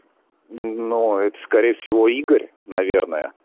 ну ноо это скорее всего игорь наверное